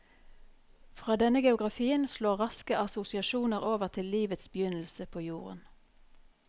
Fra denne geografien slår raske assosiasjoner over til livets begynnelse på jorden.